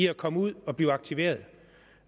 at komme ud og blive aktiveret